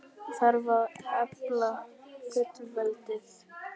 Þarf að efla fullveldið?